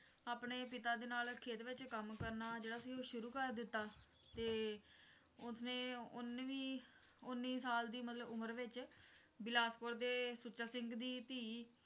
ਆਪਣੇ ਪਿਤਾ ਦੇ ਨਾਲ ਖੇਤ ਵਿੱਚ ਕੰਮ ਕਰਨਾ ਜਿਹੜਾ ਸੀ ਉਹ ਸ਼ੁਰੂ ਕਰ ਦਿੱਤਾ ਤੇ ਉਸਨੇ ਉਨੀਂਵੀਂ ਉੱਨੀ ਸਾਲ ਦੀ ਉਮਰ ਵਿਚ ਬਿਲਾਸਪੁਰ ਦੇ ਸੁੱਚਾ ਸਿੰਘ ਦੀ ਧੀ